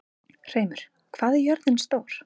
Hreimur, hvað er jörðin stór?